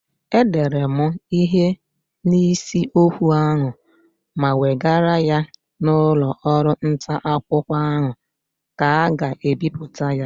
E dere mụ ihe n'isi okwu ahụ ma wegara ya n'ụlọ ọrụ nta akwụkwọ ahụ ka ga bipụta ya.